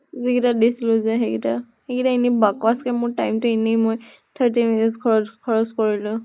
যোন কেইটাত বেছি হয় যায় সেই কেইটা। সেই কেইটা এনে বাকৱাচ কে মোৰ time টো এনেই মই thirteen minutes খৰচ খৰচ কৰিলো।